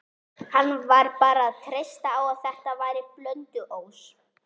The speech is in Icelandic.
Hann varð bara að treysta á að þetta væri Blönduós.